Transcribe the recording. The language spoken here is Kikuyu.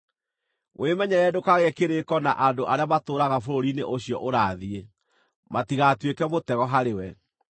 Wĩmenyerere ndũkagĩe kĩrĩĩko na andũ arĩa matũũraga bũrũri-inĩ ũcio ũrathiĩ, matigatuĩke mũtego harĩwe.